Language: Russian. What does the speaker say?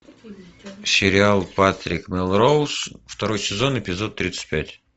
сериал патрик мелроуз второй сезон эпизод тридцать пять